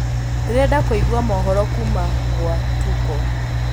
ndĩrenda kũĩgwa mohoro kuma gwa tuko